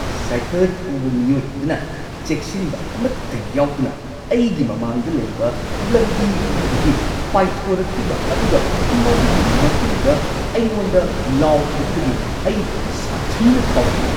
Cycle ꯊꯧꯕ ꯃꯤꯑꯣꯏ ꯑꯗꯨꯅ ꯆꯦꯛꯁꯤꯟꯕ ꯑꯃꯠꯇ ꯌꯥꯎꯗꯅ ꯑꯩꯒꯤ ꯃꯃꯥꯡꯗ ꯂꯩꯕ ꯂꯝꯕꯤ ꯑꯃꯗꯒꯤ ꯄꯥꯏꯊꯣꯔꯛꯈꯤꯕ ꯑꯗꯨꯒ ꯃꯗꯨꯒꯤ ꯃꯇꯨꯡꯗ ꯑꯩꯉꯣꯟꯗ ꯂꯥꯎꯈꯤꯕꯗꯨꯗꯒꯤ ꯑꯩ ꯁꯥꯊꯤꯅ ꯁꯥꯎꯈꯤ꯫